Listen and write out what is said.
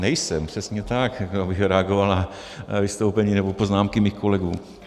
Nejsem, přesně tak, abych reagoval na vystoupení nebo poznámky mých kolegů.